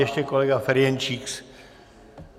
Ještě kolega Ferjenčík.